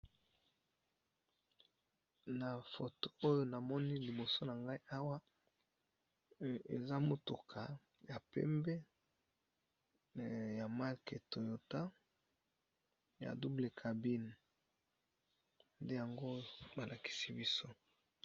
Na foto oyo namoni liboso na ngai awa eza motuka ya pembe ya marque toyota ya double cabine, nde yango ba lakisi biso.